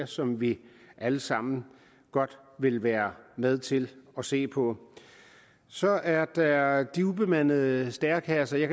som vi alle sammen godt vil være med til at se på så er der de ubemandede stærekasser jeg